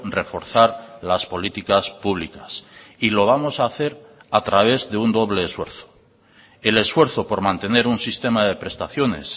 reforzar las políticas públicas y lo vamos a hacer a través de un doble esfuerzo el esfuerzo por mantener un sistema de prestaciones